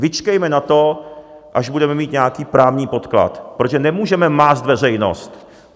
Vyčkejme na to, až budeme mít nějaký právní podklad, protože nemůžeme mást veřejnost.